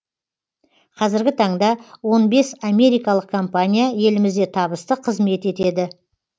қазіргі таңда он бес америкалық компания елімізде табысты қызмет етеді